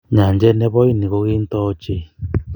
Nyanjet ne bo Ini ko kintoo ochei.